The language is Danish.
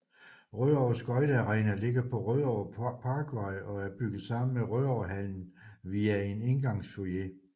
Rødovre Skøjte Arena ligger på Rødovre Parkvej og er bygget sammen med Rødovrehallen via en indgangsfoyer